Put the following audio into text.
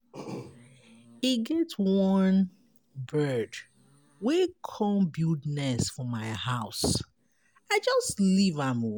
E get one bird wey come build nest for my house. I just leave am.